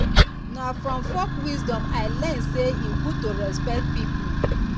na from folk wisdom i learn sey e good to respect pipo.